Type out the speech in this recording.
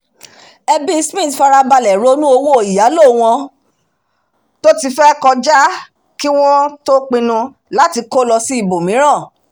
ẹbí smith farabalẹ̀ ronú owó ìyálò wọn tó ti fẹ́ kọjá kí wọ́n tó pinnu láti kó lọ ibọ̀míràn